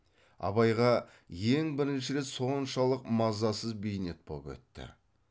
абайға ең бірінші рет соншалық мазасыз бейнет боп өтті